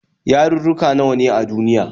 Yarurruka nawa ne a duniya?